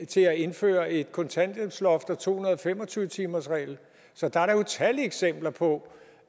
til at indføre et kontanthjælpsloft og en to hundrede og fem og tyve timersregel så der er da utallige eksempler på